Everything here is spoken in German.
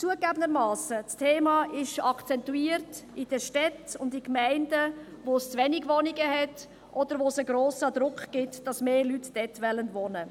Zugegeben: Das Thema ist in Städten und in Gemeinden akzentuiert, in welchen es zu wenige Wohnungen gibt oder wo es einen grossen Druck gibt, dass mehr Leute dort wohnen wollen.